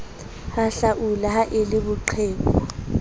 hahlaula ha e le boqheku